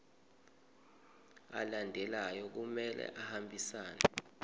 alandelayo kumele ahambisane